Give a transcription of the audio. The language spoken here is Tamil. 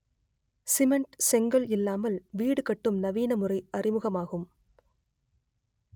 சிமெண்ட் செங்கல் இல்லாமல் வீடு கட்டும் நவீன முறை அறிமுகமாகும்